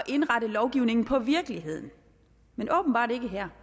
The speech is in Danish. indrette lovgivningen på virkeligheden men åbenbart ikke her